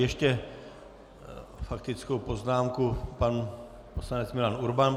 Ještě faktickou poznámku pan poslanec Milan Urban.